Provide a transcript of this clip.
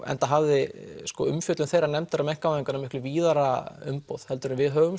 enda hafði umfjöllum þeirrar nefndar um einkavæðinguna víðara umboð heldur en við höfum